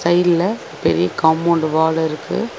சைடுல பெரிய compound wall இருக்கு.